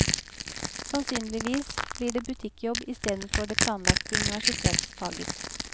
Sannsynligvis blir det butikkjobb istedenfor det planlagte universitetsfaget.